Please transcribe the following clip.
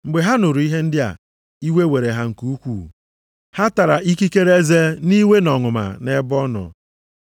Mgbe ha nụrụ ihe ndị a, iwe were ha nke ukwu. Ha tara ikikere eze nʼiwe na nʼọnụma nʼebe ọ nọ.